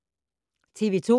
TV 2